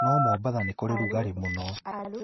No Mombatha nĩ kũrĩ rugarĩ muno